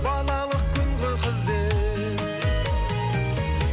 балалық күнгі қызбен